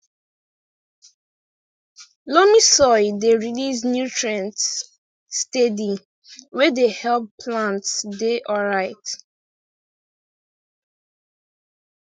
loamy soil dey release nutrients steady wey dey help plants dey alright